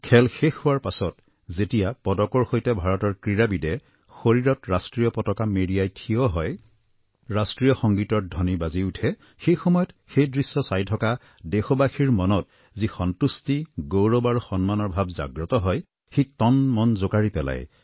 খেল শেষ হোৱাৰ পিছত যেতিয়া পদকৰ সৈতে ভাৰতৰ ক্ৰীড়াবিদে শৰীৰত ৰাষ্ট্ৰীয় পতাকা মেৰিয়াই থিয় হয় ৰাষ্ট্ৰীয় সংগীত ধ্বনি বাজি উঠে সেই সময়ত সেই দৃশ্য চাই থকা দেশবাসীৰ মনত যি সন্তুষ্টি গৌৰৱ আৰু সন্মানৰ ভাৱ জাগ্ৰত হয় সি তনমন জোকাৰি পেলায়